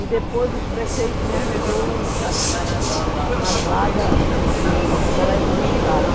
E depois o prefeito me arranjou um uma vaga no Colégio do Estado.